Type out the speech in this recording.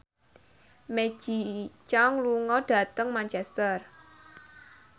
Maggie Cheung lunga dhateng Manchester